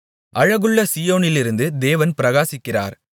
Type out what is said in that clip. அழகுள்ள சீயோனிலிருந்து தேவன் பிரகாசிக்கிறார்